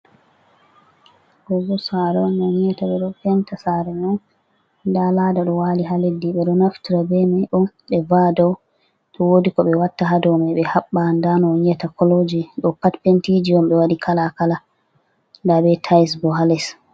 Ɗo boo saare on, on yi'ata ɓe ɗo penta saare may, nda laada ɗo waali haa leddi ɓe ɗo naftira bee may ɗo ɓe va'a dow to woodi ko ɓe watta haa dow may, ɓe haɓɓa nda no on yi'ata kolooji, ɗo'o pat pentiiji on be waɗi kala-kala nda bee taayesji boo haa les.